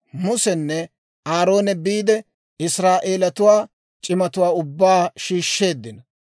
Musenne Aaroone biide, Israa'eeletuwaa c'imatuwaa ubbaa shiishsheeddino.